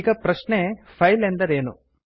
ಈಗ ಪ್ರಶ್ನೆ ಫೈಲ್ ಎಂದರೇನು